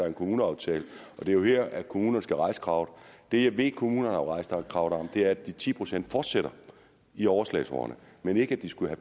en kommuneaftale og det er jo her kommunerne skal rejse kravet det jeg ved kommunerne har rejst krav om er at de ti procent fortsætter i overslagsårene men ikke at de skulle